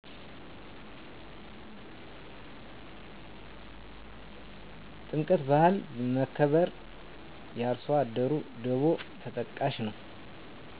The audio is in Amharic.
ጥምቀት ባህል፣ መከባበር፣ የአርሶአደሩ ደቮ ተጠቃሽ ነው